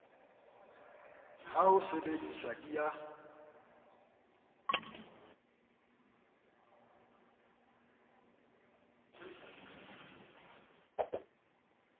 ha ho sebediswe di a